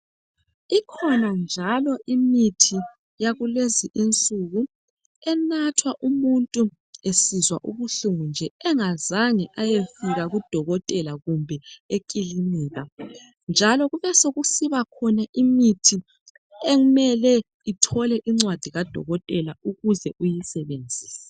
Ikhona njalo imithi yakulezinsuku enathwa umuntu esizwa ubuhlungu nje engazange wafika kudokotela kumbe eklinika njalo kukhona eminye imithi edinga incwadi kadokotela ukuze uyisebenzise